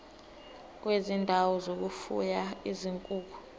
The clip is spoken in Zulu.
kwezindawo zokufuya izinkukhu